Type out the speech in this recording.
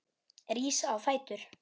Rís á fætur.